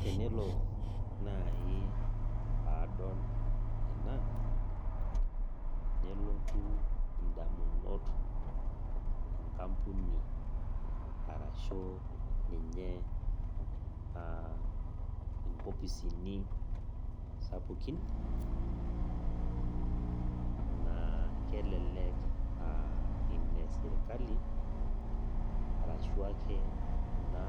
Tenelo naaji, paadol ena, nelotu indamunot inkampuni arashu aa ninye inkopisini sapukin naa kelelek aa ine sirkali ashu ake kuna